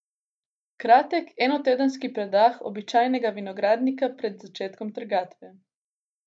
Kratek enotedenski predah običajnega vinogradnika pred začetkom trgatve.